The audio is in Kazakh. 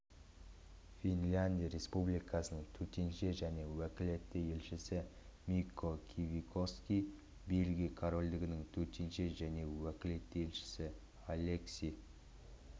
финляндия республикасының төтенше және өкілетті елшісі микко кивикоски бельгия корольдігінің төтенше және өкілетті елшісі алекси